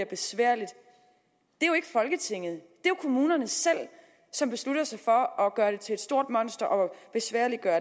besværligt det er jo ikke folketinget det er kommunerne selv som beslutter sig for at gøre det til et stort monster og besværliggøre